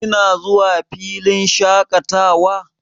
Kina zuwa filin shaƙatawa?